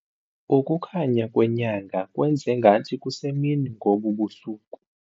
Ukukhanya kwenyanga kwenze ngathi kusemini ngobu busuku.